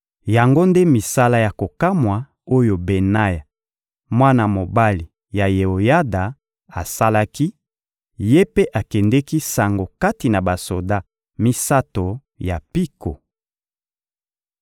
Yango nde misala ya kokamwa oyo Benaya, mwana mobali ya Yeoyada, asalaki; ye mpe akendeki sango kati na basoda misato ya mpiko.